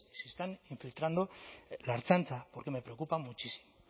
si se están infiltrando en la ertzaintza porque me preocupa muchísimo